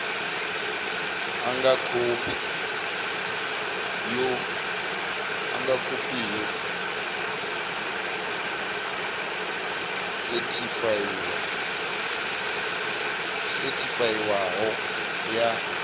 nga khophi yo sethifaiwaho ya